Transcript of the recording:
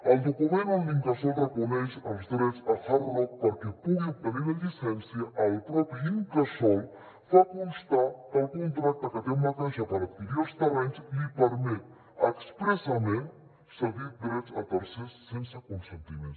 al document on l’incasòl reconeix els drets a hard rock perquè pugui obtenir la llicència el propi incasòl fa constar que el contracte que té amb la caixa per adquirir els terrenys li permet expressament cedir drets a tercers sense consentiment